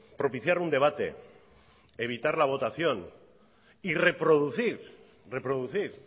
propiciar un debate evitar la votación y reproducir